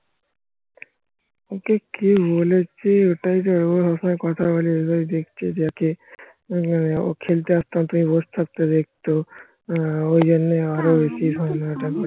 ওকে কে বলেছে ওটাই তো সব সময় কথা বলে